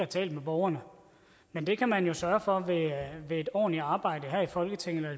talt med borgerne men det kan man jo sørge for ved et ordentligt arbejde her i folketinget